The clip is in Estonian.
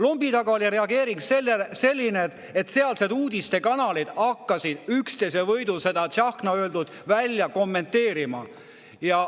Lombi taga oli reageering selline, et sealsed uudistekanalid hakkasid üksteise võidu Tsahkna öeldut kommenteerima.